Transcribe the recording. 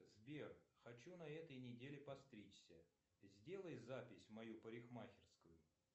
сбер хочу на этой неделе подстричься сделай запись в мою парикмахерскую